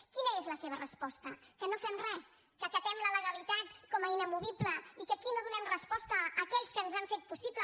quina és la seva resposta que no fem res que acatem la legalitat com a inamovible i que aquí no donem resposta a aquells que han fet possible